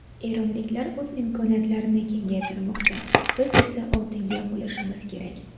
Eronliklar o‘z imkoniyatlarini kengaytirmoqda, biz esa oldinda bo‘lishimiz kerak.